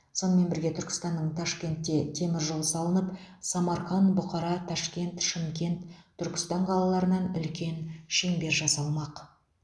сонымен бірге түркістаннан ташкенте темір жол салынып самарқан бұқара ташкент шымкент түркістан қалаларынан үлкен шеңбер жасалмақ